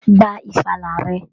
Gba ìfàlà rẹ!